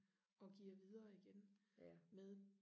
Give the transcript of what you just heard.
og giver videre igen med